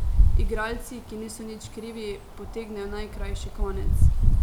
Igralci, ki niso nič krivi, potegnejo najkrajši konec.